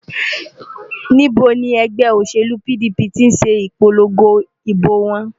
Níbo ni ẹgbẹ́ òṣèlú PDP ti ṣe ìpolongo ìbò wọn?